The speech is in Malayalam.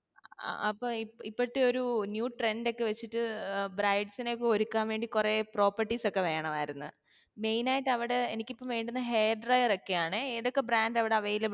അപ്പൊ ഇപ്പ ഇപ്പോഴത്തെ ഒരൂ new trend ഒക്കെ വെച്ചിട്ട് ഏർ brides നെ ഒക്കെ ഒരുക്കാൻ വേണ്ടി കുറെ properties ഒക്കേ വേണമായിരുന്നു main ആയിട്ട് അവിടേ എനിക്ക് ഇപ്പോ വേണ്ടുന്നേ hair dryer ഒക്കേ ആണേ ഏതൊക്കെ brand അവിടെ available